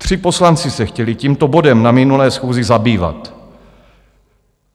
Tři poslanci se chtěli tímto bodem na minulé schůzi zabývat.